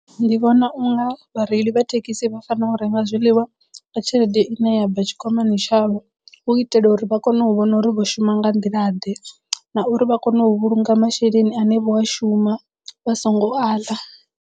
Ndi vhona unga vhareili vha thekhisi vha fanela u renga zwiḽiwa nga tshelede i ne ya bva tshikwamani tshavho hu itela uri vha kono u vhona uri vho shuma nga nḓila ḓe na uri vha kone u vhulunga masheleni ane vho a shuma vha songo aḽa.